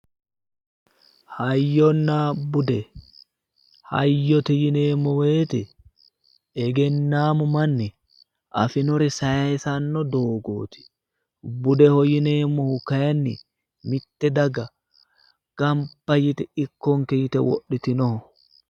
Hayyonna bude, hayyote yinneemmo woyte egennammu manni afinore saysano doogoti, budeho yinneemmohu kayinni mite daga gamba yte wodhitinoho